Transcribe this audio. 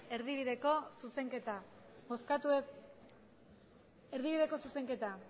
erdibideko zuzenketa